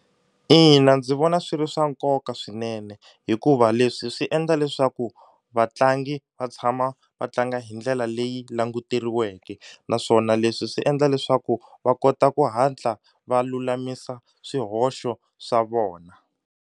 Ina ndzi vona swi ri swa nkoka swinene hikuva leswi swi endla leswaku vatlangi va tshama va tlanga hi ndlela leyi languteriweke naswona leswi swi endla leswaku va kota ku hatla va lulamisa swihoxo swa vona.